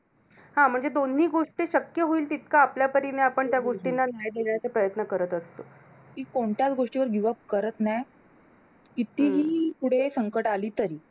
हा म्हणजे दोन्ही गोष्टी शक्य होईल तितकं आपल्या परीने आपण त्या गोष्टींना न्याय देण्याचा प्रयत्न करत असतो. ती कोणत्याच गोष्टींना give up करत नाही. कितीही पुढे संकट आली तरी.